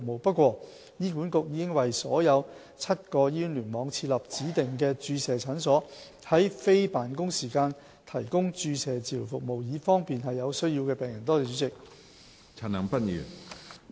不過，醫管局已在所有7個醫院聯網設立指定的注射診所，在非辦公時間提供注射治療服務，以方便有需要的病人。